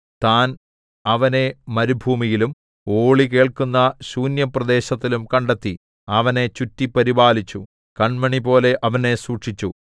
താൻ അവനെ മരുഭൂമിയിലും ഓളി കേൾക്കുന്ന ശൂന്യപ്രദേശത്തിലും കണ്ടെത്തി അവനെ ചുറ്റി പരിപാലിച്ചു കണ്മണിപോലെ അവനെ സൂക്ഷിച്ചു